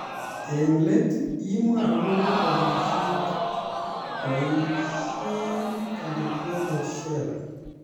Eng let imwa akobo borishet ,boisie calibrated sheller